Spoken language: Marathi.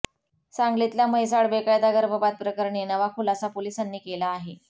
सांगलीतल्या म्हैसाळ बेकायदा गर्भपात प्रकरणी नवा खुलासा पोलिसांनी केला आहे